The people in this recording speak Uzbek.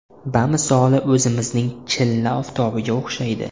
Bamisoli o‘zimizning chilla oftobiga o‘xshaydi.